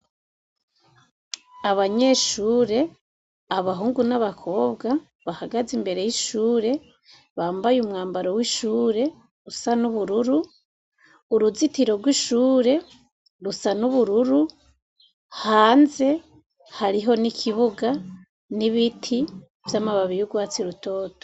Abanyeshure, abahungu n'abakobwa bahagaze imbere y'ishure bambaye umwambaro w'ishure usa n'ubururu uruzitiro rw'ishure rusa n'ubururu hanze hariho n'ikibuga n'ibiti vy'amababi yurwatsi rutoto.